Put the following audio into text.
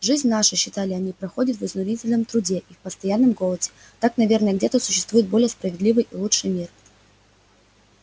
жизнь наша считали они проходит в изнурительном труде и постоянном голоде так наверно где-то существует более справедливый и лучший мир